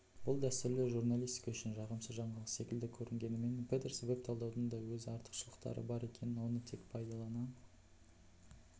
бұл дәстүрлі журналистика үшін жағымсыз жаңалық секілді көрінгенімен петерс веб-талдаудың да өз артықшылықтары бар екенін оны тек пайдалана